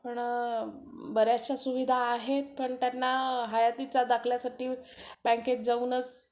पण बऱ्याचश्या सुविधा आहेत पण त्यांना हयातीचा दाखल्यासाठी बँकेत जाऊनच